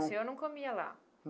O senhor não comia lá?